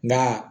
Na